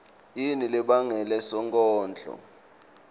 yini lebangele sonkondlo